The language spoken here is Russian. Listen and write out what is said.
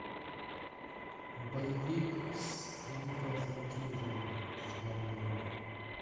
боевик с николасом кейджем в главной роли